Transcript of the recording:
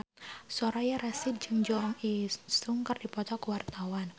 Soraya Rasyid jeung Jo In Sung keur dipoto ku wartawan